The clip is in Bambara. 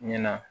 Ɲina